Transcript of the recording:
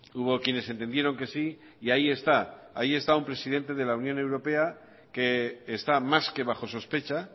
hubo quienes entendieron que sí y ahí está ahí está un presidente de la unión europea que está más que bajo sospecha